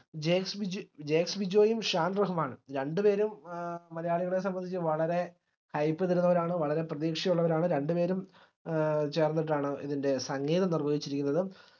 ജെസ്‌വിജ് ജെസ്‌വിജോയും ഷാൻ റഹ്മാനും രണ്ടുപേരും ഏർ മലയാളികളെ സംബന്ധിച് വളരെ hype തരുന്നവരാണ് വളരെ പ്രതീക്ഷയുള്ളവരാണ് രണ്ടുപേരും ഏർ ചേർന്നിട്ടാണ് ഇതിന്റെ സംഗീതം നിർവഹിച്ചിരിക്കുന്നത്